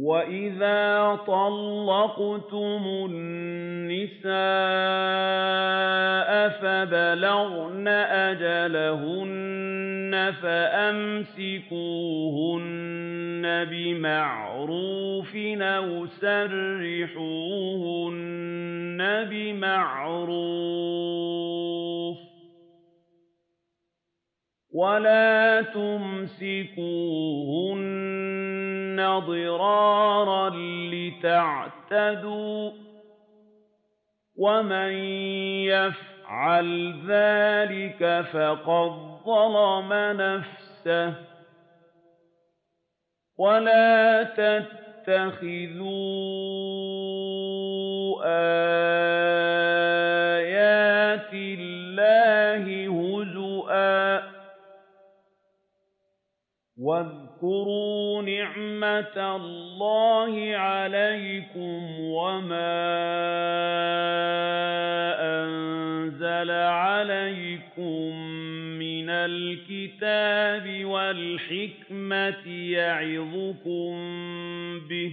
وَإِذَا طَلَّقْتُمُ النِّسَاءَ فَبَلَغْنَ أَجَلَهُنَّ فَأَمْسِكُوهُنَّ بِمَعْرُوفٍ أَوْ سَرِّحُوهُنَّ بِمَعْرُوفٍ ۚ وَلَا تُمْسِكُوهُنَّ ضِرَارًا لِّتَعْتَدُوا ۚ وَمَن يَفْعَلْ ذَٰلِكَ فَقَدْ ظَلَمَ نَفْسَهُ ۚ وَلَا تَتَّخِذُوا آيَاتِ اللَّهِ هُزُوًا ۚ وَاذْكُرُوا نِعْمَتَ اللَّهِ عَلَيْكُمْ وَمَا أَنزَلَ عَلَيْكُم مِّنَ الْكِتَابِ وَالْحِكْمَةِ يَعِظُكُم بِهِ ۚ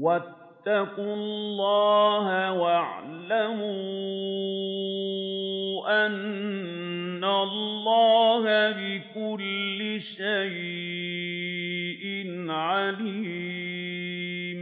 وَاتَّقُوا اللَّهَ وَاعْلَمُوا أَنَّ اللَّهَ بِكُلِّ شَيْءٍ عَلِيمٌ